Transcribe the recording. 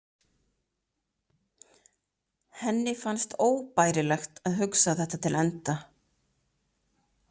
Henni fannst óbærilegt að hugsa þetta til enda.